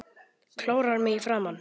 Klórar mig í framan.